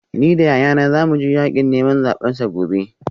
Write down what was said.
Ni da yayana za mu je yakin neman zabensa gobe